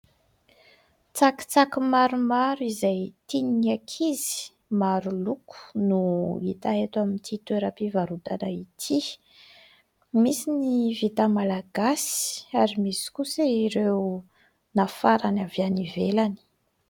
Tsakitsaky maromaro izay tian'ny ankizy, maro loko no hita eto amin'ity toeram-pivarotana ity. Misy ny vita malagasy ary misy kosa ireo nafarana avy any ivelany.